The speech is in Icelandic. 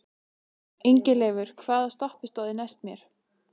Ingileifur, hvaða stoppistöð er næst mér?